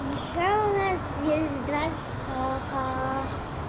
ещё у нас есть два сока